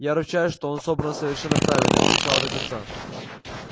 я ручаюсь что он собран совершенно правильно с начала до конца